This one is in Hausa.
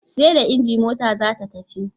Seda inji mota zata tashi